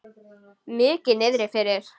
Mikið niðri fyrir.